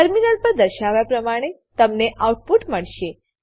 terminal પર દર્શાવ્યા પ્રમાણે તમને આઉટપુટ મળશે